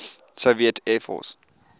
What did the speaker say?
soviet air force